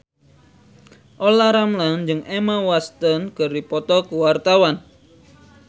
Olla Ramlan jeung Emma Watson keur dipoto ku wartawan